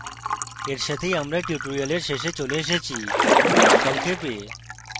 এর সাথেই tutorial শেষে এসেছি সংক্ষেপে